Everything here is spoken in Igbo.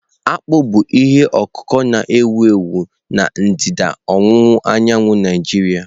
Akpụ bụ ihe ọkụkụ na-ewu ewu na ndịda ọwụwa anyanwụ Naijiria.